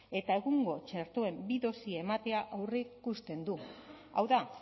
eta egungo txertoen bi dosi ematea aurreikusten du hau da